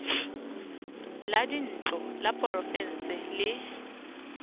la dintlo la porofense le